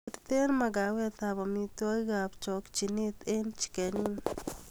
Birten makawetab amitwogikab chochinet eng chicken inn